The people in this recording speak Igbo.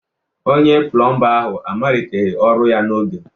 Onye plọmba ahụ amaliteghị ọrụ ya n'oge